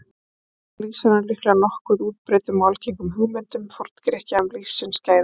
Þarna lýsir hann líklega nokkuð útbreiddum og algengum hugmyndum Forngrikkja um lífsins gæði.